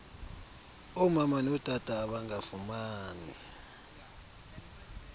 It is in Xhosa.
omama notata abangafumani